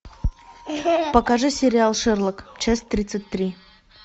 покажи сериал шерлок часть тридцать три